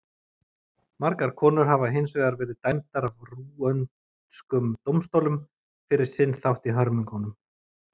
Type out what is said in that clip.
Margar konur hafa hins vegar verið dæmdar af rúöndskum dómstólum fyrir sinn þátt í hörmungunum.